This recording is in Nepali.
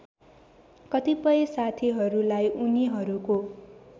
कतिपय साथीहरूलाई उनीहरूको